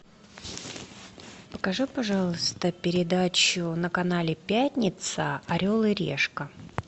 покажи пожалуйста передачу на канале пятница орел и решка